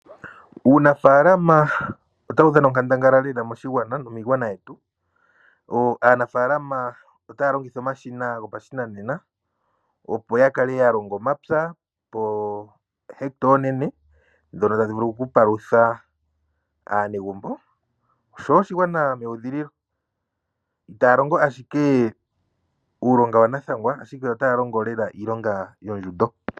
Uunafaalama otawu dhana onkandangala lela moshigwana nomiigwana yetu aanafaalama otaya longitha omashina goku patulula gopashinanena opo yakale yalonga omapya iilwa iinene mbyono tayi vulu okupalutha aanegumbo oshowo oshigwanga meudhililo. Uulongwa owa nathangwa ashike otawu longo lela iilonga yondjundo.